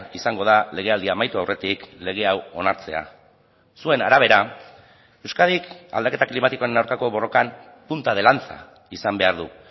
izango da legealdia amaitu aurretik lege hau onartzea zuen arabera euskadik aldaketa klimatikoaren aurkako borrokan punta de lanza izan behar du